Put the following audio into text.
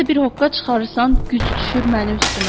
Nəsə bir hoqqa çıxarırsan, güc düşür məni üstümə.